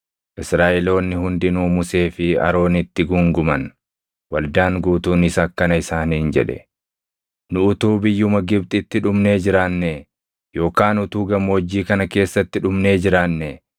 Israaʼeloonni hundinuu Musee fi Aroonitti guunguman; waldaan guutuunis akkana isaaniin jedhe; “Nu utuu biyyuma Gibxitti dhumnee jiraannee! Yookaan utuu gammoojjii kana keessatti dhumnee jiraannee!